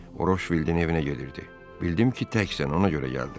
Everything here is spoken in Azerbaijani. Roşvildin evinə gedirdi, bildim ki, təksən, ona görə gəldim.